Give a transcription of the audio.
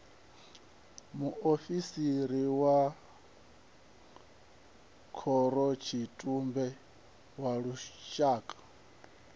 muofisiri wa khorotshitumbe wa lushaka